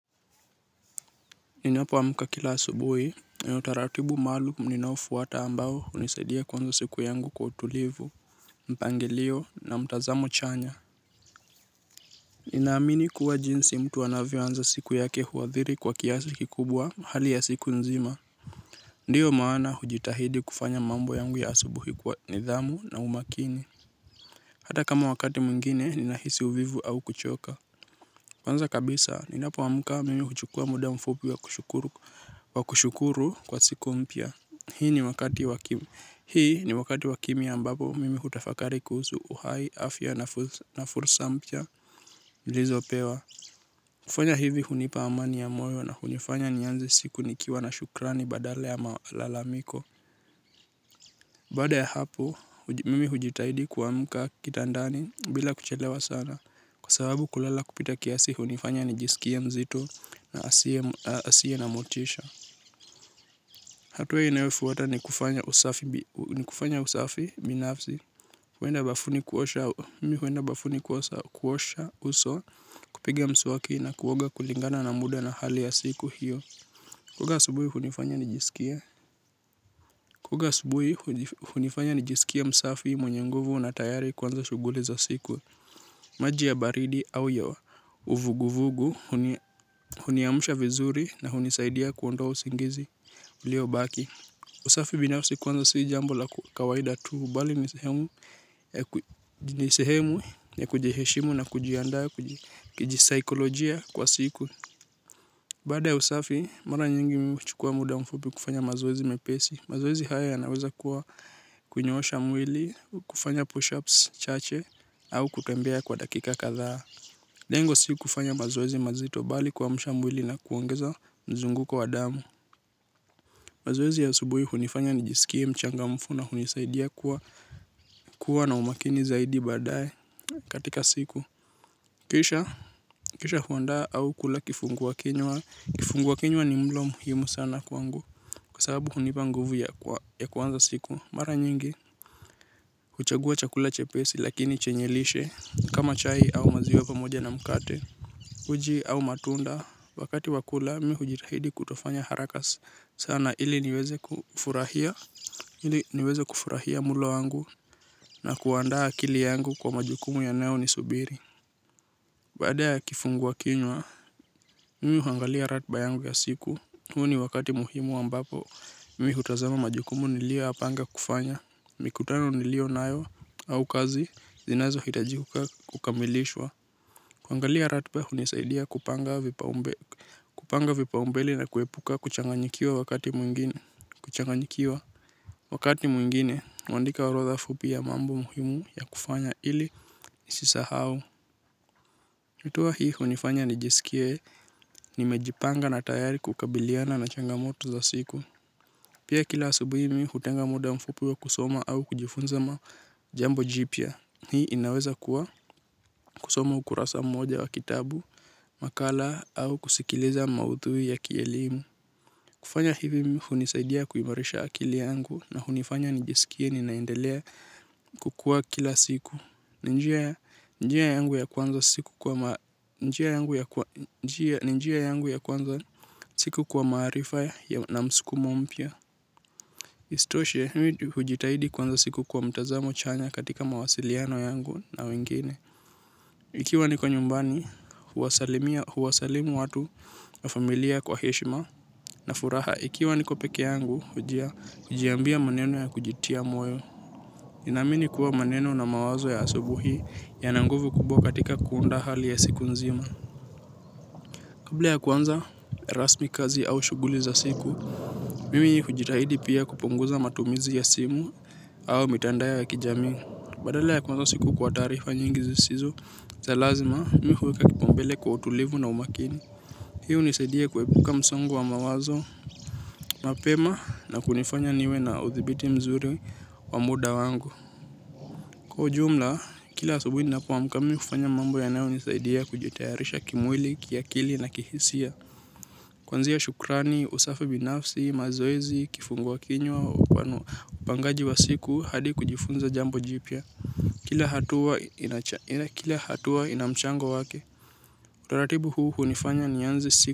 Ninapo amka kila asubuhi na utaratibu maalum ninao fuata ambao hunisaidia kuanza siku yangu kuwa utulivu. Mpangilio na mtazamo chanya nina amini kuwa jinsi mtu anavyo anza siku yake huadhiri kwa kiasi kikubwa hali ya siku nzima. Ndiyo maana hujitahidi kufanya mambo yangu ya asubuhi kwa nidhamu na umakini. Hata kama wakati mwingine nina hisi uvivu au kuchoka kwanza kabisa, ninapo amka mimi huchukua muda mfupi wa kushukuru kwa siku mpya. Hii ni wakati wakimya ambapo mimi hutafakari kuhusu uhai, afya na fursa mpya, nilizopewa. Kufanya hivi hunipa amani ya moyo na hunifanya nianze siku nikiwa na shukrani badala ya malalamiko. Bada ya hapo, mimi hujitahidi kuamka kitandani bila kuchelewa sana. Kwa sababu kulala kupita kiasi hunifanya nijisikie mzito na asie na motisha. Hatua inayofuata ni kufanya usafi binafsi. Mimi huenda bafuni kuosha uso kupiga mswaki na kuoga kulingana na muda na hali ya siku hio. Kuoga asubuhi hunifanya nijisikie msafi mwenye nguvu na tayari kuanza shughuli za siku. Maji ya baridi au ya vuguvugu, huniamsha vizuri na hunisaidia kuondoa usingizi ulio baki. Usafi binafsi kwanza si jambo la kawaida tu, bali ni sehemu ya kujiheshimu na kujiandaa kijisaikolojia kwa siku. Baada usafi, mara nyingi mimi huchukua muda mfupi kufanya mazoezi mepesi. Mazoezi haya yanaweza kuwa kunyoosha mwili, kufanya push-ups, chache, au kutembea kwa dakika kadhaa. Lengo si kufanya mazoezi mazito bali kuamsha mwili na kuongeza mzunguko wa damu. Mazoezi ya asubuhi hunifanya nijisikie mchangamfu na hunisaidia kuwa na umakini zaidi baadaye katika siku. Kisha huandaa au kula kifungua kinywa. Kufungua kinywa ni mlo muhimu sana kwangu kwa sababu hunipa nguvu ya kuanza siku. Mara nyingi, huchagua chakula chepesi lakini chenye lishe kama chai au maziwe pamoja na mkate, uji au matunda. Wakati wa kula, mi hujitahidi kutofanya haraka sana ili niweze kufurahia mlo wangu na kuandaa akili yangu kwa majukumu yanayo ni subiri. Baada ya kifungua kinywa, mi huangalia ratiba yangu ya siku. Huo ni wakati muhimu ambapo mimi hutazama majukumu nilio ya panga kufanya. Mikutano nilio nayo au kazi zinazo hitajika kukamilishwa. Kuangalia ratiba hunisaidia kupanga vipa umbeli na kuepuka kuchanganyikiwa wakati mwingine. Kuchanganyikiwa wakati mwingine, huandika urodha fupi ya mambo muhimu ya kufanya ili ni sisahau. Hatua hii hunifanya nijisikie nimejipanga na tayari kukabiliana na changa moto za siku. Pia kila asubuhi mimi hutenga muda mfupi wa kusoma au kujifunza majambo jipya. Hii inaweza kuwa kusoma ukurasa mmoja wa kitabu, makala au kusikiliza mauthui ya kielimu. Kufanya hivi mkmi hunisaidia kuimarisha akili yangu na hunifanya nijisikie ninaendelea kukua kila siku. Ni njia yangu ya kuanza siku kwa kwa maarifa na mskumo mpya. Isitoshe hujitahidi kuanza siku kwa mtazamo chanya katika mawasiliano yangu na wengine. Ikiwa niko nyumbani huwasalimu watu na familia kwa heshima na furaha. Ikiwa niko peke yangu hujia kujiambia maneno ya kujitia moyo nina amini kuwa maneno na mawazo ya asubuhi yana nguvu kubwa katika kuunda hali ya siku nzima. Kabla ya kuanza rasmi kazi au shughuli za siku mimi hujitahidi pia kupunguza matumizi ya simu au mitandao ya kijami. Badala ya kuanza siku kwa taarifa nyingi zisizo, za lazima mi huweka kipaumbele kwa utulivu na umakini. Hii hunisaidia kuepuka msongo wa mawazo, mapema na kunifanya niwe na uthibiti mzuri wa muda wangu. Kwa jumla, kila asubuhi ninapo amka mimi hufanya mambo yanayo nisaidia kujitayarisha kimwili, kiakili na kihisia. Kuanzia shukrani, usafi binafsi, mazoezi, kifungua kinywa upangaji wa siku hadi kujifunza jambo jipya. Kila hatua ina mchango wake. Utaratibu huu hunifanya nianze siku.